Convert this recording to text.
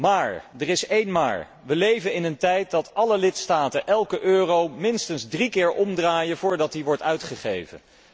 Maar, er is één maar, we leven in een tijd dat alle lidstaten elke euro minstens drie keer omdraaien voordat hij wordt uitgegeven.